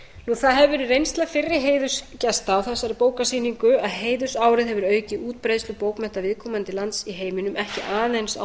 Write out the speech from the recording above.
það hefur verið reynsla fyrri heiðursgesta á þessari bókasýningu að heiðursárið hefur aukið útbreiðslu bókmennta viðkomandi lands í heiminum ekki aðeins á